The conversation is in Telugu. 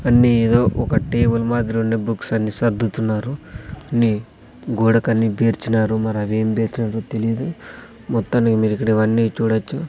అన్నీ ఏదో ఒక టేబుల్ మాదిరుండే బుక్స్ అన్ని సర్దుతున్నారు నీ గోడకాన్ని పేర్చినారు మరి అవేం బెర్చినారొ తెలీదు మొత్తానికి మీరు ఇక్కడ ఇవన్నీ చూడొచ్చు.